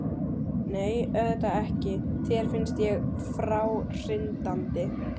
Nei, auðvitað ekki, þér finnst ég fráhrindandi.